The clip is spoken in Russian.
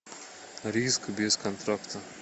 риск без контракта